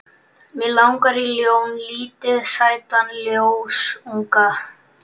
Mig langar í ljón, lítinn sætan ljónsunga.